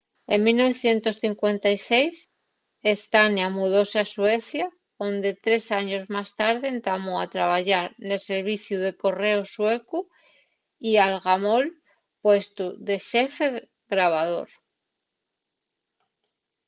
en 1956 słania mudóse a suecia onde tres años más tarde entamó a trabayar nel serviciu de correos suecu y algamó'l puestu de xefe grabador